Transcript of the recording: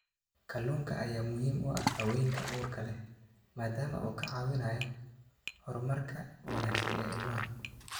Kalluunka ayaa muhiim u ah haweenka uurka leh maadaama uu ka caawinayo horumarka wanaagsan ee ilmaha.